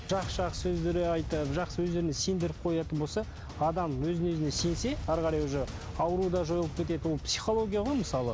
жақсы жақсы сөздер айтады жақсы өздеріне сендіріп қоятын болса адам өзіне өзіне сенсе әрі қарай уже ауру да жойылып кетеді ол психология ғой мысалы